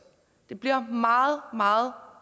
det bliver meget meget